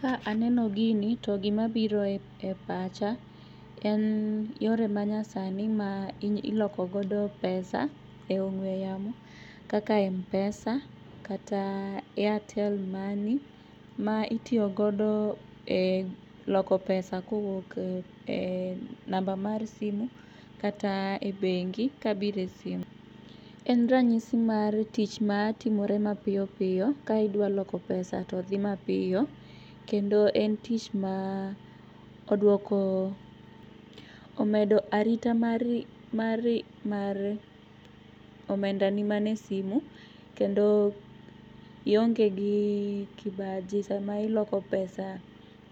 Ka aneno gini to gimabiro e pacha en yore manyasani ma iloko godo pesa e ong'ue yamo kaka mpesa kata airtel money ma itiyo godo e loko pesa kowuoke namba mar simu kata e bengi kabire sim. En ranyisi mar tich matimore mapiyopiyo ka idwaloko pesa to dhi mapiyo kendo en tich ma duoko omedo. Arita mari mari mar omenda ni mane simu kendo ionge gi kibaji sama iloko pesa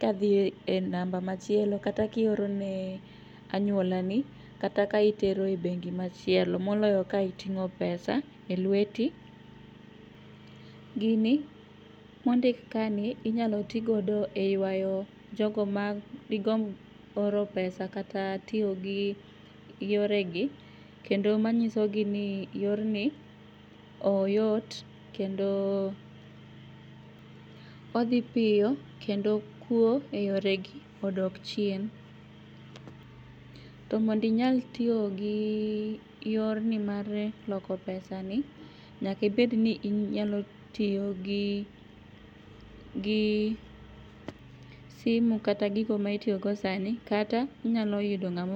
kadhie namba machielo kata kiorone anyuolani kata ka itero e bengi machielo moloyo ka iting'o pesa e lueti. Gini mondik kani inyalotigodo e yuayo jogo madigomb oro pesa kata tiyo gi yoregi kendo manyisogi ni yorni oyot kendo odhi piyo kendo kuo e yoregi odok chien. To mondinyal tiyo gi yorni mar loko pesa ni nyaka obedni inyalo tiyogi gi simu kata gigo maitiyogo sani kata inyalo yudo ngamo